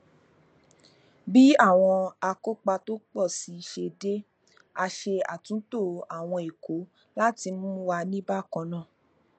bí àwọn akópa tó pọ sí i ṣe dé a ṣàtúntò àwọn ikọ láti mú wà ní bákan náà